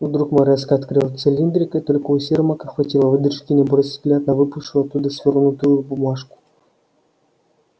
вдруг мэр резко открыл цилиндрик и только у сермака хватило выдержки не бросить взгляд на выпавшую оттуда свёрнутую бумажку